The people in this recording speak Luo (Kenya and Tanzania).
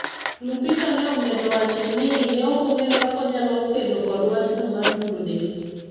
Lupita nomedo wacho ni ne ok ong'eyo kaka ne onyalo kedo kod wachno mar mulo del